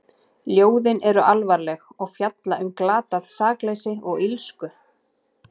Ljóðin eru alvarleg og fjalla um glatað sakleysi og illsku.